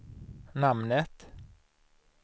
namnet